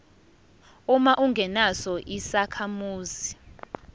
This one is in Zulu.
uma ungesona isakhamuzi